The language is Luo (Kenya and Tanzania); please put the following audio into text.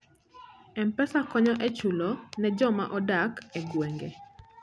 M-Pesa konyo e chulo ne joma odak e gwenge.